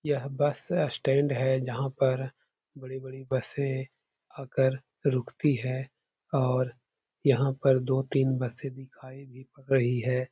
यह bus stand है जहां पर बड़ी-बड़ी बसें आकर रुकती है और यहाँ पर दो तीन बसें दिखाई भी पड़ रही है।